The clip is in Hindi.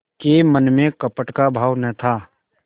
के मन में कपट का भाव न था